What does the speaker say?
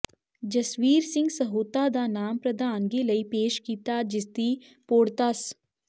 ਜਸਵੀਰ ਸਿੰਘ ਸਹੋਤਾ ਦਾ ਨਾਮ ਪ੍ਰਧਾਨਗੀ ਲਈ ਪੇਸ਼ ਕੀਤਾ ਜਿਸ ਦੀ ਪ੍ਰੋੜ੍ਹਤਾ ਸ